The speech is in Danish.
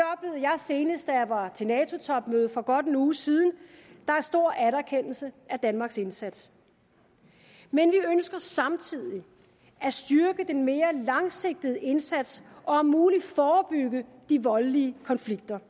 senest da jeg var til nato topmødet for godt en uge siden der er stor anerkendelse af danmarks indsats men vi ønsker samtidig at styrke den mere langsigtede indsats og om muligt forbygge de voldelige konflikter